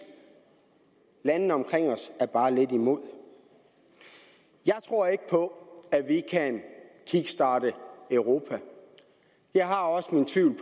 landene omkring os er bare lidt imod jeg tror ikke på at vi kan kickstarte europa jeg har også min tvivl